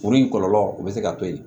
Kuru in kɔlɔlɔ o bɛ se ka to ye